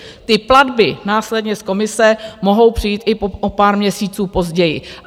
Ty platby následně z komise mohou přijít i o pár měsíců později.